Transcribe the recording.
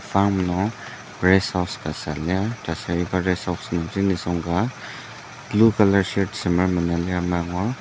farm nung rest house ka süa lir taser iba rest house nungji blue colour shirt semer mena lir amai angur.